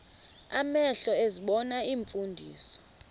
amehlo ezibona iimfundiso